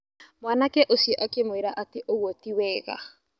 Mwanake ũcio akĩmwarĩ atĩ ũgwo ti wega.